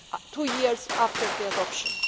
two years after its adoption.